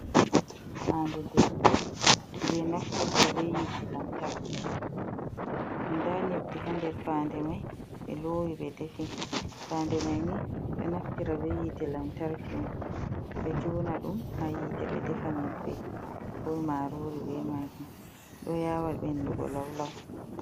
Faande defugo, ɓe ɗo naftra bee yiite lantarki. Ndaa nyebbe ha nder faande may ɓe loowi ɓe defi. Faande may ni nde ɗo naftira bee yiite lantarki om, ɓe "joona" ɗum ha yiite ɓe defa nyebbe koo maaroori bee maajum. Ɗo yaawa ɓenndugo law-law.